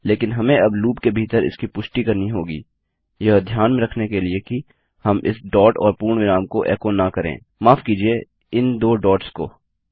लेकिन हमें अब लूप के भीतर इसकी पुष्टि करनी होगी यह ध्यान में रखने के लिए कि हम इस डॉट और पूर्णविराम को एको न करें - माफ़ कीजिये इन दो डोट्स को